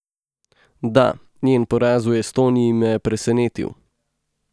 Da, njen poraz v Estoniji me je presenetil.